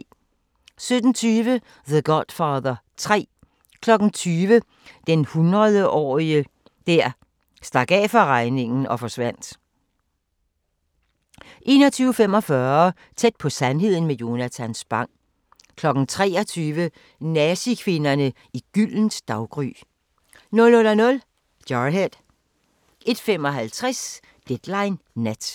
17:20: The Godfather 3 20:00: Den hundredetårige der stak af fra regningen og forsvandt 21:45: Tæt på sandheden med Jonatan Spang 23:00: Nazi-kvinderne i Gyldent Daggry 00:00: Jarhead 01:55: Deadline Nat